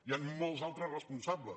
hi han molts altres responsables